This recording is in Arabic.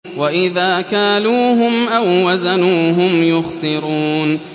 وَإِذَا كَالُوهُمْ أَو وَّزَنُوهُمْ يُخْسِرُونَ